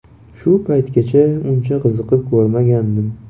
Shu paytgacha uncha qiziqib ko‘rmagandim.